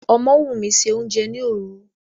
Ọmọ́wùmí se oúnjẹ ni òru.